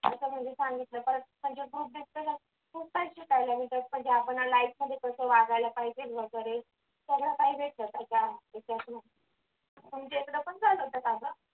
असं म्हणजे सांगितलं परत पहिलं group discussion खूप काही शिकायला भेटलं म्हणजे आपण life मध्ये कस वागायला पाहिजे वगैरे सगळं काही भेटलं त्याच्यातून तुमच्याकडे पण झालं होतं का ग?